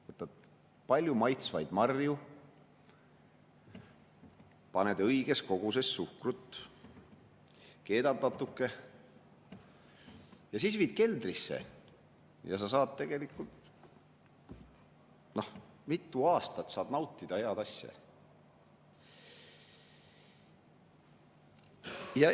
Võtad palju maitsvaid marju, paned õiges koguses suhkrut, keedad natuke ja siis viid keldrisse, ja sa saad tegelikult mitu aastat nautida head asja.